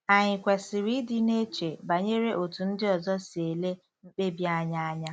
Ànyị kwesịrị ịdị na-eche banyere otú ndị ọzọ si ele mkpebi anyị anya?